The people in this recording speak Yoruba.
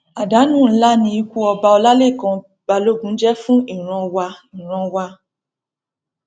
àdánù ńlá ni ikú ọba ọlálẹkan balógun jẹ fún ìran wa ìran wa